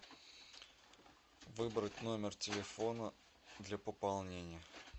выбрать номер телефона для пополнения